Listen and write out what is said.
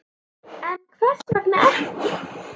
En hvers vegna ekki?